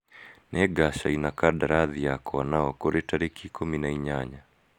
Nĩ ngacaina kandarathi yakwa nao kũrĩ tarĩki ikũmi na inyanya.